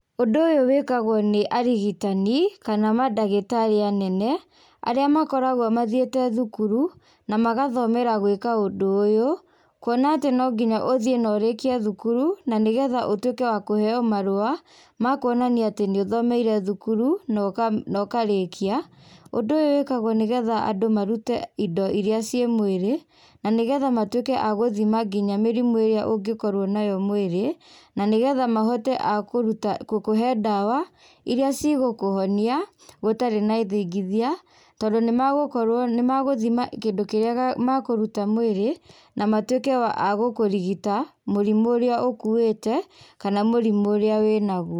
Ũndũ ũyũ wĩkagwo nĩ arigitani, kana mandagĩtarĩ anene, arĩa makoragwo mathiĩte thukuru, na magathomera gwĩka ũndũ ũyũ, kuona atĩ nonginya ũthiĩ na ũrĩkie thukuru, na nĩgetha ũtuĩke wa kũheo marũa, makuonania atĩ nĩũthomeire thukuru, na ũka ũkarĩkia, ũndũ ũyũ wĩkagwo nĩgetha andũ marute indo iria ciĩ mwĩrĩ, na nĩgetha matuĩke agũthima nginya mĩrimũ ĩrĩa ũngĩkorwo nayo mwĩrĩ, na nĩgetha mahote a kũruta kũkũhe ndawa, iria cigũkũhonia, gũtarĩ na ithingithia, tondũ nĩmagũkorwo nĩmagũthima kĩndũ kĩrĩa makũruta mwĩrĩ, na matuĩke a gũkũrigita, mũrimũ ũrĩa ũkuĩte, kana mũrimũ ũrĩa wĩnaguo.